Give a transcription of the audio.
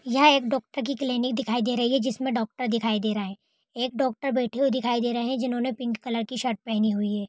ये एक डोक्टर की क्लिनिक दिखाई दे रही है जिसमें डाक्टर दिखाई दे रहा है एक डाक्टर बेठे हुए दिखाई दे रहे है जिन्होंने पिंक कलर की शर्ट पहेनी हुए है ।